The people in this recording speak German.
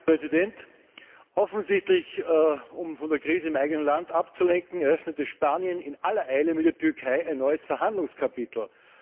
Herr Präsident! Offensichtlich um von der Krise im eigenen Land abzulenken, eröffnete Spanien in aller Eile mit der Türkei ein neues Verhandlungskapitel.